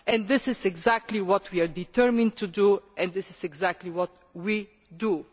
This is exactly what we are determined to do and this is exactly what we do.